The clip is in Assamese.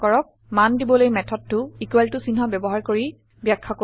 মান দিবলৈ মেথডটো চিহ্ন ব্যৱহাৰ কৰি বাখয়া কৰিব